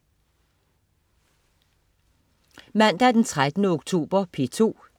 Mandag den 13. oktober - P2: